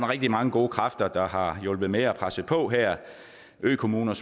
rigtig mange gode kræfter der har hjulpet med og presset på her økommuner